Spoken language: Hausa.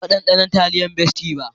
Ban taba ɗanɗana taliyan bestie ba.